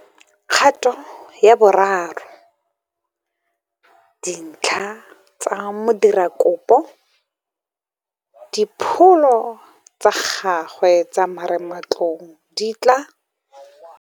Kgato ya bo 3. Dintlha tsa modirakopo le dipholo tsa gagwe tsa marematlou di tla